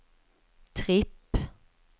tripp